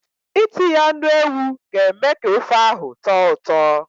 Itinye anụ ewu ga-eme ka ofe ahụ tọọ ụtọ.